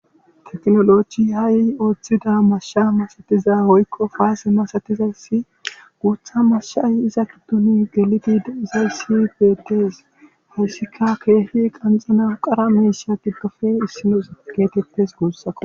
tekinolochi ha7i ooththida mashsha masatiza hoykko faase masatizaysi guutha mashshay iza gidduni gelidi deizayssi beettes hayssika keehi qanxana qara meeshea giddofe issino geetettes guussako